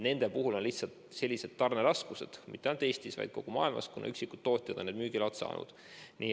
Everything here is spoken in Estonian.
Nende puhul on tarneraskused mitte ainult Eestis, vaid kogu maailmas, kuna üksikud tootjad on nende müümiseks loa saanud.